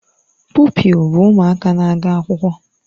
Pụpịl bụ ụmụaka na-aga akwụkwọ